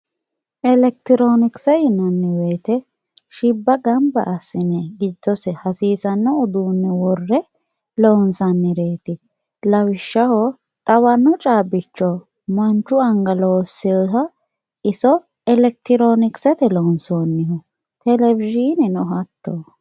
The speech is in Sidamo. elekitironkise yinanni woyitte shibba ganba asine gidose hasisanno udunne wore lonsanireti lawishaho xawano cabicho mannu aniga looseha iso elekironkisete lonisoniho televizhineno hatoti